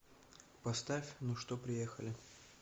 поставь ну что приехали